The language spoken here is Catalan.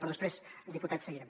però després diputat seguirem